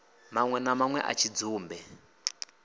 manwe na manwe a tshidzumbe